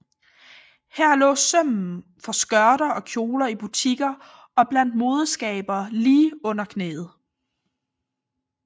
Her lå sømmen for skørter og kjoler i butikker og blandt modeskabere lige under knæet